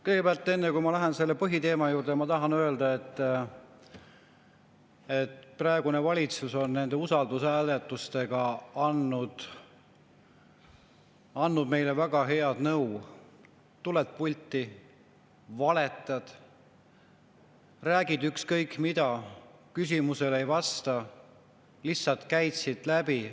Kõigepealt, enne kui ma lähen selle põhiteema juurde, tahan öelda, et praegune valitsus on nende usaldushääletustega andnud meile väga head nõu: tuled pulti, valetad, räägid ükskõik mida, küsimustele ei vasta, lihtsalt käid siit läbi.